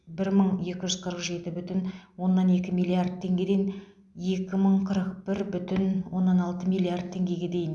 бір мың екі жүз қырық жеті бүтін оннан екі миллиард теңгеден екі мың қырық бір бүтін оннан алты миллиард теңгеге дейін